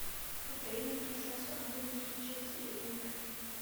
повтори нам трансляцию апл между челси и эвертоном